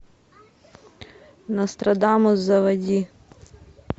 нострадамус заводи